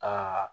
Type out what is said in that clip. Ka